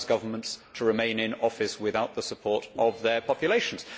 It allows governments to remain in office without the support of their populations.